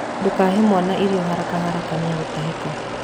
Ndũkahe mwana irio harakaharaka niegũtahĩka.